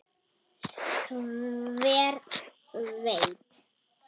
Hver veit?